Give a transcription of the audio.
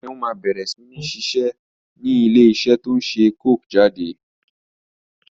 Seun má bẹ̀rẹ̀ sini ṣiṣẹ́ ni ilé iṣẹ́ to ń ṣe coke jáde